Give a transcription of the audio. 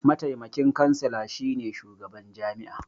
Mataimakin kansila shi ne shugaban jami'a.